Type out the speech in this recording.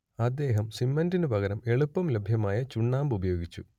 അദ്ദേഹം സിമന്റിനു പകരം എളുപ്പം ലഭ്യമായിരുന്ന ചുണ്ണാമ്പ് ഉപയോഗിച്ചു